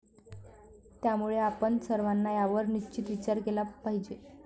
त्यामुळे आपण सर्वांना यावर निश्चित विचार केला पाहिजे.